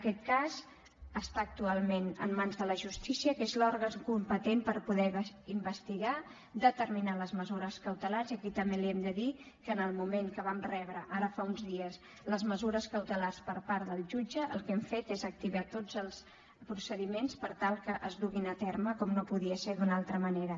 aquest cas està actualment en mans de la justícia que és l’òrgan competent per poder investigar determinades mesures cautelars i aquí també li hem de dir que en el moment que vam rebre ara fa uns dies les mesures cautelars per part del jutge el que hem fet és activar tots els procediments per tal que es duguin a terme com no podia ser d’una altra manera